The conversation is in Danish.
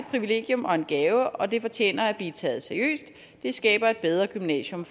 privilegium og en gave og det fortjener at blive taget seriøst det skaber et bedre gymnasium